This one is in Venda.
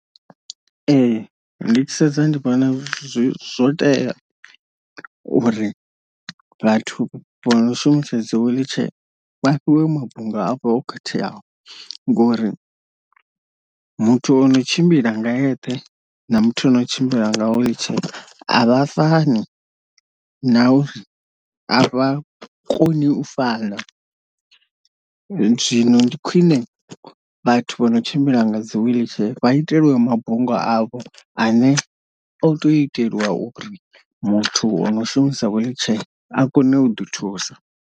Ee ndi tshi sedza ndi vhona zwo tea uri vhathu vho no shumisa dzi wheelchair vha fhiwe mabunga avho o khetheaho, ngori muthu o no tshimbila nga eṱhe na muthu o no tshimbila nga wheelchair avha fani na avha koni u fana, zwino ndi khwine vhathu vho no tshimbila nga dzi wheelchair vha itelwe mabunga avho ane o to itelwa uri muthu o no shumisa wheelchair a kone u ḓi thusa.